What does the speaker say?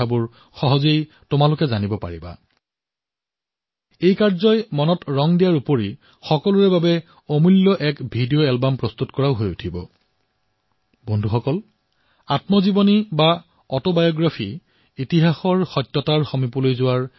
চাব আপোনালোকে খুব আনন্দ পাব